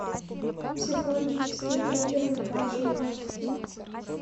психологические триллеры в хорошем качестве